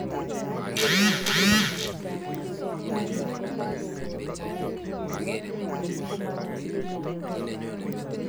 Mwaat kele nyorunet ab ngalek chotok kokakokon naet nebo mengishet ab bik ab keny.